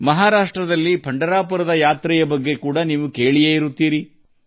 ಮಹಾರಾಷ್ಟ್ರದ ಪಂಢರಪುರದ ಯಾತ್ರೆಯ ಬಗ್ಗೆ ನೀವು ಕೇಳಿರಬಹುದು